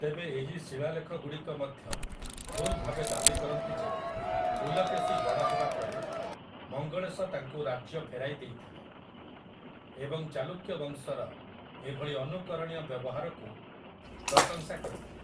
ତେବେ ଏହି ଶିଳାଲେଖଗୁଡ଼ିକ ମଧ୍ୟ ଭୁଲ୍ ଭାବେ ଦାବି କରନ୍ତି ଯେ ପୁଲକେଶି ବଡ଼ ହେବା ପରେ ମଙ୍ଗଳେଶ ତାଙ୍କୁ ରାଜ୍ୟ ଫେରାଇ ଦେଇଥିଲେ ଏବଂ ଚାଲୁକ୍ୟ ବଂଶର ଏଭଳି ଅନୁକରଣୀୟ ବ୍ୟବହାରକୁ ପ୍ରଶଂସା କରିଥିଲେ ।